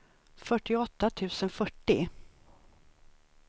fyrtioåtta tusen fyrtio